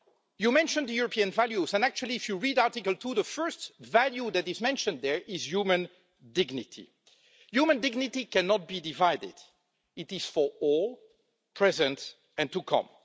You mentioned the European values, and actually if you read Article 2, the first value that is mentioned there is human dignity. Human dignity cannot be divided it is for all, present and to come.